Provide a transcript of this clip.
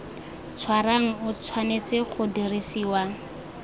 tshwarang o tshwanetse go dirisiwa